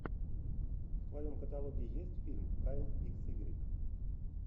в твоем каталоге есть фильм кайл икс игрек